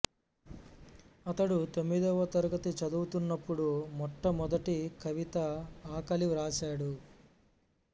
ఇతడు తొమ్మిదవ తరగతి చదువుతున్నప్పుడు మొట్టమొదటి కవిత ఆకలి వ్రాశాడు